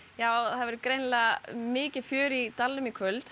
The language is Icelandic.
já það verður grienilega mikið fjör í dalnum í kvöld